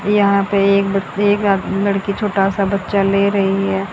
यहां पे एक ब एक ला लड़की छोटा सा बच्चा ले रही है।